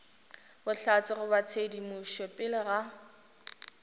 bohlatse goba tshedimošo pele ga